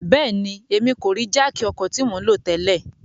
Bẹẹni, Emi ko rii jáákí ọkọ ti mo nlo tẹlẹ